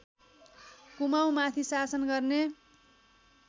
कुमाउँमाथि शासन गर्ने